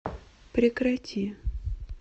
прекрати